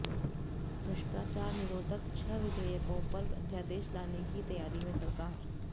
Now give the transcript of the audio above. भ्रष्टाचार निरोधक छह विधेयकों पर अध्यादेश लाने की तैयारी में सरकार